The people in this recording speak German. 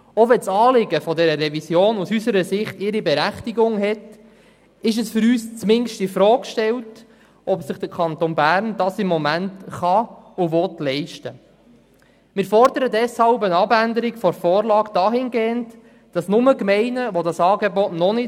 Obwohl das Anliegen dieser Revision aus unserer Sicht ihre Berechtigung hat, stellen wir zumindest infrage, ob der Kanton sich diese Ausgaben im Moment leisten kann und will.